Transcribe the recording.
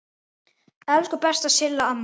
Elsku besta Silla amma.